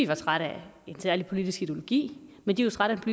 var trætte af en særlig politisk ideologi men de var trætte af